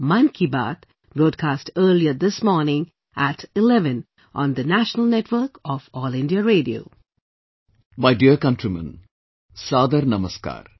My dear countrymen, Saadar Namaskar